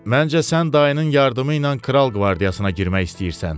Məncə sən dayının yardımı ilə kral qvardiyasına girmək istəyirsən.